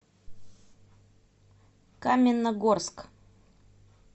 каменногорск